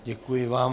Děkuji vám.